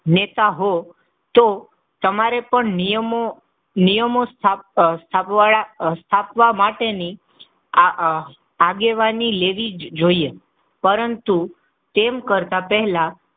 નેતા હો, તમારે પણ નિયમો નિયમો, સ્થાપવા માટેની આગેવાની લેવી જોઈએ. પરંતુ તેમ કરતાં પહેલા,